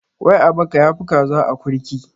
Ƙwai a baka ya fi kaza a akurki